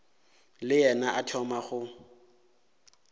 le yena a thoma go